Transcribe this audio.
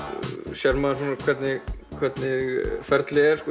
sér maður hvernig hvernig ferlið er